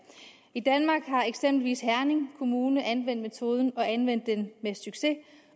i danmark har eksempelvis herning kommune anvendt metoden og anvendt den med succes